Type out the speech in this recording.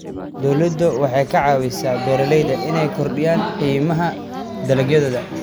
Dawladdu waxay ka caawisaa beeralayda inay kordhiyaan qiimaha dalagyadooda.